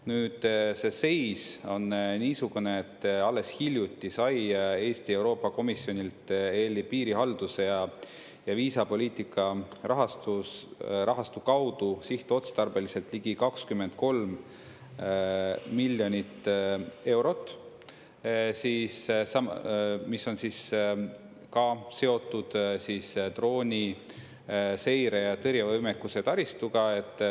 Nüüd, see seis on niisugune, et alles hiljuti sai Eesti Euroopa Komisjonilt ELi piirihalduse ja viisapoliitika rahastu kaudu sihtotstarbeliselt ligi 23 miljonit eurot, mis on siis ka seotud drooniseire ja -tõrjevõimekuse taristuga.